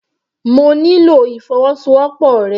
Mo nílò ìfọwọ́sowọ́pọ̀ rẹ.